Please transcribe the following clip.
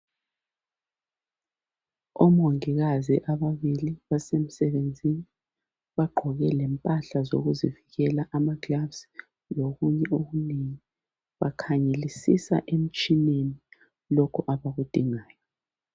Omongikazi ababili basemsebenzini bagqoke lempahla zokuzivikela amagilavusi lokunye okunengi. Bakhangelisisa emtshineni lokho abakudingayo.